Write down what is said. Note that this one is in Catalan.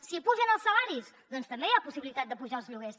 si pugen els salaris doncs també hi ha possibilitat d’apujar els lloguers